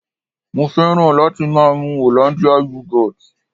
Mo fẹ́ràn láti máa mu Hollandia Yogurt